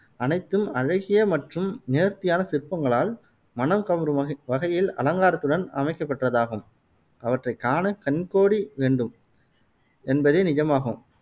அனைத்தும் அழகிய மற்றும் நேர்த்தியான சிற்பங்களால் மனம் கவரும் வக வகையில் அலங்காரத்துடன் அமைக்கப் பெற்றதாகும், அவற்றை காணக் கண் கோடி வேண்டும் என்பதே நிஜமாகும்.